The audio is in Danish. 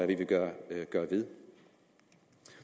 vi vil gøre ved